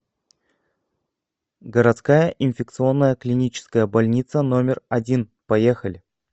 городская инфекционная клиническая больница номер один поехали